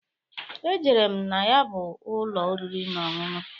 Ejere m na ya bụ ụlọ oriri na ọṅụṅụ.